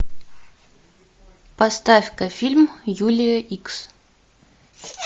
поставь ка фильм юлия икс